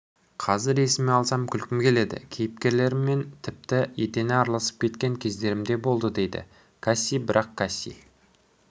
қазір есіме алсам күлкім келеді кейіпкерлермен тіпті етене араласып кеткен кездерім де болдыдейді касси бірақ касси